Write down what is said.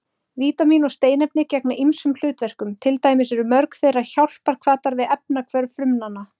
Vítamín og steinefni gegna ýmsum hlutverkum, til dæmis eru mörg þeirra hjálparhvatar við efnahvörf frumnanna.